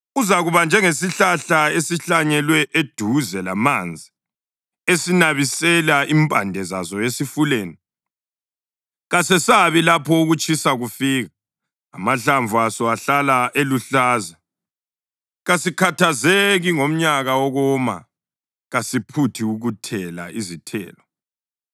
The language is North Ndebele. Uzakuba njengesihlahla esihlanyelwe eduze lamanzi esinabisela impande zaso esifuleni. Kasesabi lapho ukutshisa kufika; amahlamvu aso ahlala eluhlaza. Kasikhathazeki ngomnyaka wokoma; kasiphuthi ukuthela izithelo.”